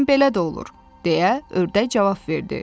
Bəzən belə də olur, - deyə ördək cavab verdi.